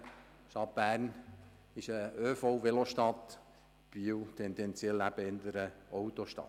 Die Stadt Bern ist eine ÖV-/Velo-Stadt, Biel tendenziell eher eine Autostadt.